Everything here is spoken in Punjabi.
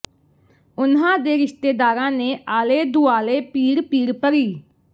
ਉਨ੍ਹਾਂ ਦੇ ਰਿਸ਼ਤੇਦਾਰਾਂ ਨੇ ਆਲੇ ਦੁਆਲੇ ਭੀੜ ਭੀੜ ਭਰੀ